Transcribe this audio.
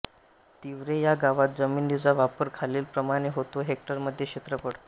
तिवरे ह्या गावात जमिनीचा वापर खालीलप्रमाणे होतो हेक्टरमध्ये क्षेत्रफळ